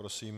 Prosím.